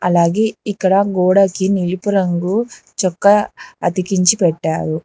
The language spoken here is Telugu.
అలాగే ఇక్కడ గోడకి నిలుపు రంగు చొక్కా అతికించి పెట్టారు.